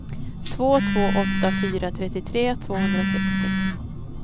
två två åtta fyra trettiotre tvåhundrasextio